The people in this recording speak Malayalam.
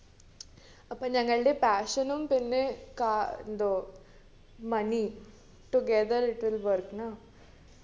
അപ്പോ ഞങ്ങൾടെ passion ഉം പിന്നെ കാ എന്തോ money together it will work nah